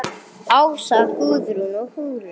Ása, Guðrún og Hugrún.